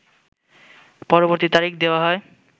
পরবর্তী তারিখ দেওয়া হয়